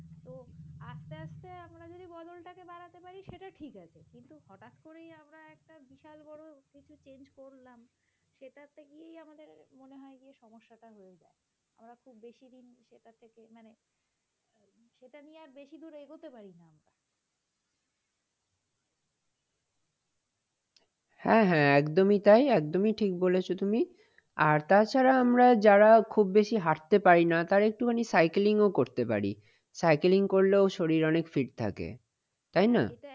হ্যাঁ হ্যাঁ একদমই তাই একদমই ঠিক বলেছ তুমি। আর তাছাড়া আমরা যারা খুব বেশি হাঁটতে পারি না তারা একটুখানি cycling ও করতে পারি। cycling করলেও শরীর অনেক fit থাকে। তাই না?